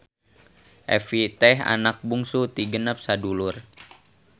Evie teh anak bungsu ti genep sadudulur.